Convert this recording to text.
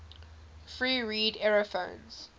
free reed aerophones